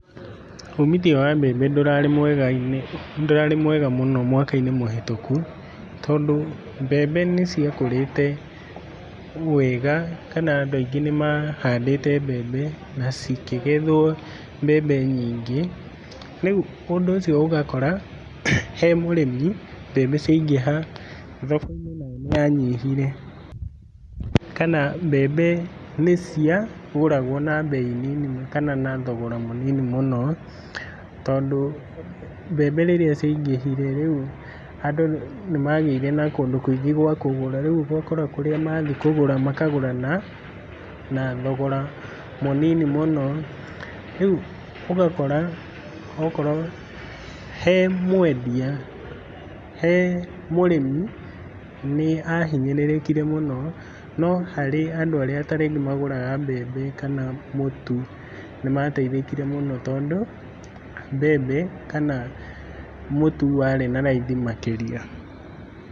Ũmithio wa mbembe ndũrarĩ mwega mũno mwaka-inĩ mũhĩtũku tondũ mbembe nĩ ciakũrĩte wega kana andũ aingĩ nĩ mahandĩte mbembe na cikĩgethwo mbembe nyingĩ. Rĩu ũndũ ũcio ũgakora he mũrĩmi mbembe ciaingĩha thoko-inĩ nayo nĩ yanyihire. Kana mbembe nĩ ciagũragwo na mbei nini kana na thogora mũnini mũno tondũ mbembe rĩrĩa ciaingĩhire rĩu andũ nĩ magĩire na kũndũ kũingĩ gwa kũgũra. Rĩu ũgakora kũrĩa mathiĩ kũgũra makagũra na thogora mũnini mũno. Rĩu ũgakora okorwo he mwendia he mũrĩmi nĩ ahinyĩrĩkire mũno. No harĩ andũ arĩa ta rĩngĩ magũraga mbembe na mũtu nĩ mateithĩkire mũno tondũ mbembe kana mũtu warĩ na raithi makĩria.